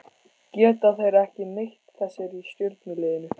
Geta þeir ekki neitt þessir í stjörnuliðinu?